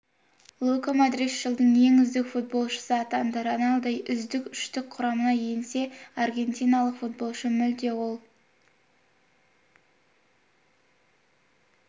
лука модрич жылдың ең үздік футболшысы атанды роналду үздік үштік құрамына енсе аргентиналық футболшы мүлде ол